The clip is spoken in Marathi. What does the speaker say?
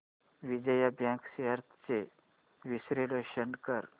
विजया बँक शेअर्स चे विश्लेषण कर